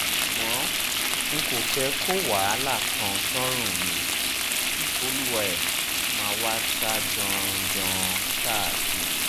ṣùgbọ́n n kò fẹ́ kó wàhálà kan sọ́rùn mi kí olúwa-ẹ máà wáá sá jàn-án jàn-án káàkiri